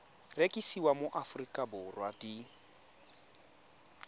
rekisiwa mo aforika borwa di